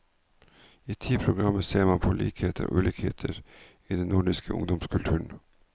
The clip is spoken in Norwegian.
I ti programmer ser man på likheter og ulikheter i den nordiske ungdomskulturen.